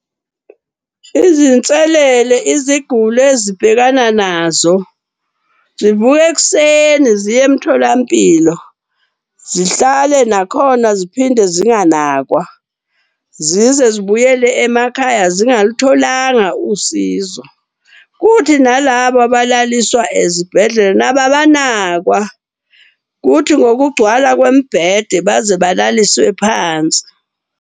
Izinselele iziguli ezibhekana nazo. Zivuke ekuseni ziye emtholampilo, zihlale nakhona ziphinde zinganakwa. Zize zibuyele emakhaya zingalutholanga usizo. Kuthi nalaba abalaliswa ezibhedlela nabo abanakwa, kuthi ngokugcwala kwemibhede baze balaliswe phansi.